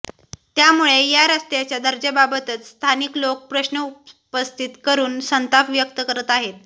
त्यामुळे या रस्त्याच्या दर्जाबाबतच स्थानिक लोक प्रश्न उपस्थित करून संताप व्यक्त करत आहेत